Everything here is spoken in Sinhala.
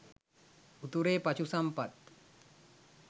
උතුරේ පශු සම්පත්